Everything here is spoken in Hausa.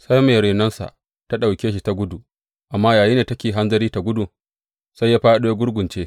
Sai mai renonsa ta ɗauke shi ta gudu, amma yayinda take hanzari tă gudu, sai ya fāɗo, ya gurgunce.